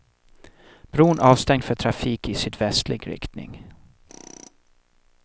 Bron avstängd för trafik i sydvästlig riktning.